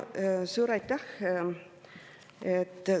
Suur aitäh!